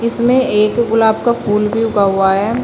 इसमें एक गुलाब का फूल भी उगा हुआ है।